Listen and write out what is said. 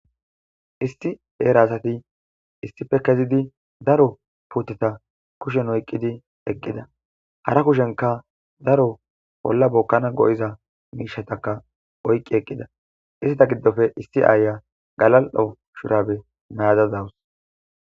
Isti eera asati issippe kezidi daro puuteta kushen oyqqidi eqqida. hara kushenka daro bolla bokkana go7iza miishataka oyqqi eqqida istita giddoppe issi aaya galal7o shurabe mayada dawus.